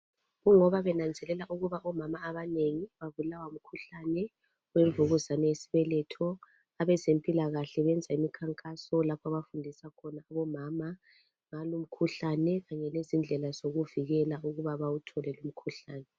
Kungoba benanzela ukuba omama abanengi babulawa ngumkhuhlane wemvukuzane yesibeletho abezempilakahle benza imikhankaso lapha abafundisa omama ngalo umkhuhlane kanye lezindlela zokuvikela ukuba bawuthole lo umikhuhlane.